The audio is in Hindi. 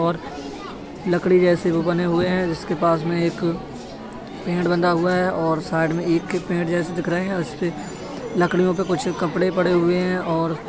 और लकड़ी जैसे वो बने हुए हैं जिसके पास में एक पेड़ बंधा हुआ है और साइड में एक ही पेड़ जैसे दिख रहे हैं और इसपे लकड़ियों पे कुछ कपड़े पड़े हुए हैं और --